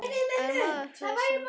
En var maður hissa?